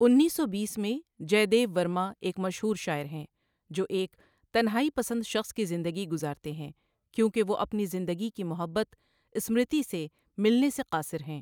انیس سو بیس میں، جے دیو ورما ایک مشہور شاعر ہیں جو ایک تنہائی پسند شخص کی زندگی گزارتے ہیں کیونکہ وہ اپنی زندگی کی محبت، اسمرتی سے ملنے سے قاصر ہیں۔